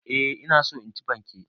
Eh ina so in ci fanke.